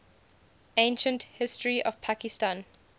ancient history of pakistan